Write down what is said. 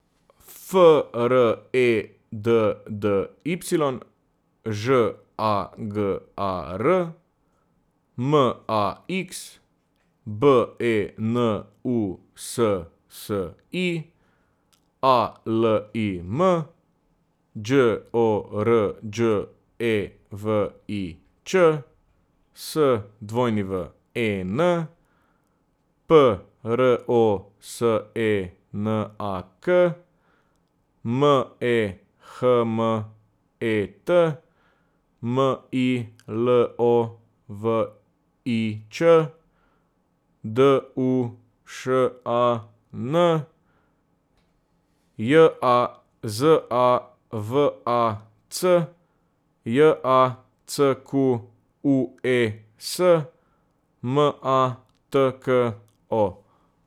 F R E D D Y, Ž A G A R; M A X, B E N U S S I; A L I M, Đ O R Đ E V I Ć; S W E N, P R O S E N A K; M E H M E T, M I L O V I Č; D U Š A N, J A Z A V A C; J A C Q U E S, M A T K O.